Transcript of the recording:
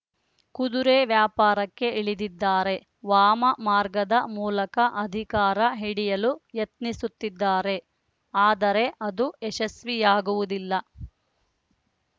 ಕುದುರೆ ವ್ಯಾಪಾರಕ್ಕೆ ಇಳಿದಿದ್ದಾರೆ ವಾಮ ಮಾರ್ಗದ ಮೂಲಕ ಅಧಿಕಾರ ಹಿಡಿಯಲು ಯತ್ನಿಸುತ್ತಿದ್ದಾರೆ ಆದರೆ ಅದು ಯಶಸ್ವಿಯಾಗುವುದಿಲ್ಲ